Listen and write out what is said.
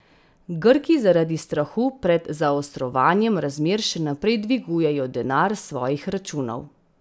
Grki zaradi strahu pred zaostrovanjem razmer še naprej dvigujejo denar s svojih računov.